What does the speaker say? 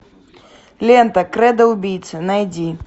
лента кредо убийцы найди